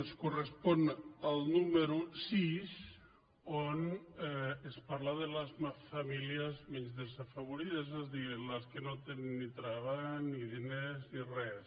es correspon al número sis on es parla de les famílies més desafavorides és a dir les que no tenen ni treball ni diners ni res